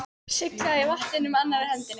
Sullaði í vatninu með annarri hendi.